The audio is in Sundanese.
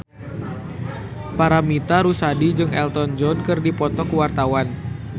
Paramitha Rusady jeung Elton John keur dipoto ku wartawan